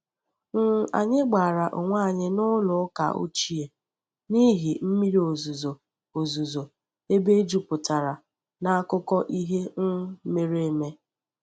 um Anyị gbara onwe anyị n’ụlọ ụka ochie n’ihi mmiri ozuzo ozuzo ebe jupụtara n'akụkọ ihe um mere eme.